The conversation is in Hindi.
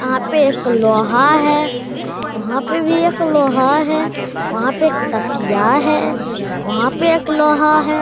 वहाँ पे एक लोहा है वहाँ पे भी एक लोहा है वहाँ पे एक तकीया है वहाँ पे एक लोहा है ।